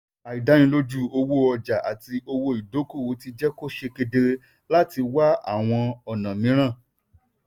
àìdánilójú owó ọjà àti owó ìdókòwò ti jẹ́ kó ṣe kedere láti wá àwọn ọ̀nà mìíràn.